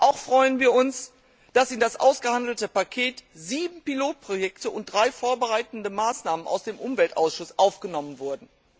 Auch freuen wir uns, dass in das ausgehandelte Paket sieben Pilotprojekte und drei vorbereitende Maßnahmen aus dem Umweltausschuss aufgenommen wurden.